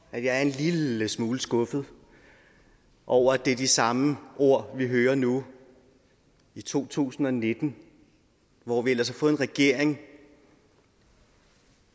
er en lille smule skuffet over at det er de samme ord vi hører nu i to tusind og nitten hvor vi ellers har fået en regering